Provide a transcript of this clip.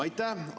Aitäh!